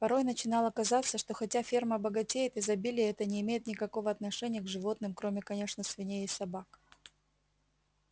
порой начинало казаться что хотя ферма богатеет изобилие это не имеет никакого отношения к животным кроме конечно свиней и собак